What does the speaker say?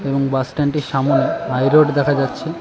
এবং বাস স্ট্যান্ডটির সামোনে হাই রোড দেখা যাচ্ছে।